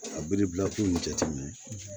A biribila ko in jateminɛ